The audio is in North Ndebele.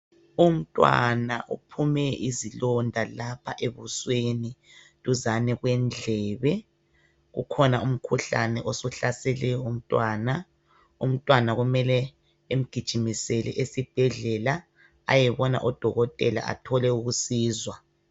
Umntwana uphume izilonda lapha ebusweni duzane kwendlebe. Kukhona umkhuhlane osuhlasele umntwana. Umntwana kumele emgijimisele esibhedlela ayebona odokotela athole usizo.